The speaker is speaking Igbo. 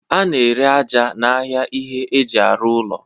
A na-ere aja n'ahịa ihe eji arụ ụlọ.